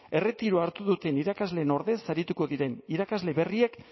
erretiroa hartu duten irakasleen ordez arituko diren irakasle berriek